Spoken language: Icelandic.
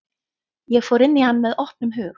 Ég fór inn í hann með opnum hug.